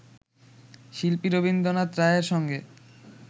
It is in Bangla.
শিল্পী রথীন্দ্রনাথ রায়ের সঙ্গে